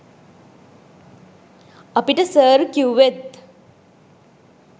අපිට සර් කිව්වෙත්